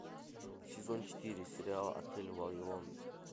сезон четыре сериал отель вавилон